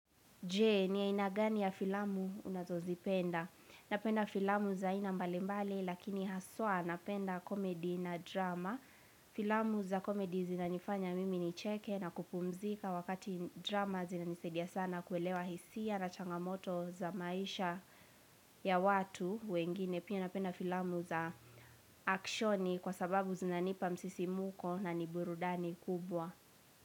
Je, ni aina gani ya filamu unazozipenda. Napenda filamu za aina mbalimbali lakini haswa napenda komedi na drama. Filamu za komedi zinanifanya mimi nicheke na kupumzika wakati drama zinanisaidia sana kuelewa hisia na changamoto za maisha ya watu wengine. Pia napenda filamu za akshoni kwa sababu zinanipa msisimuko na ni burudani kubwa.